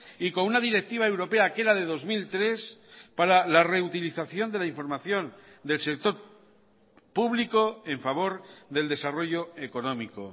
y con una directiva europea que era de dos mil tres para la reutilización de la información del sector público en favor del desarrollo económico